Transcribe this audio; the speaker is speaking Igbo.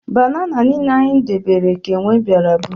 Banana niile anyị debere ka enwe bịara bụrụ